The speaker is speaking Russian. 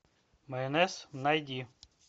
майонез найди